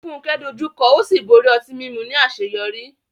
Funke dojú kọ ó sì borí ọtí mímu ní àṣeyọrí.